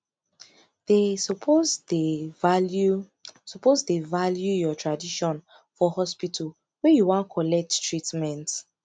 dey suppose dey value suppose dey value your tradition for hospital wey you wan collect treatment